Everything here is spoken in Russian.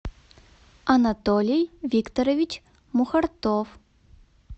анатолий викторович мухартов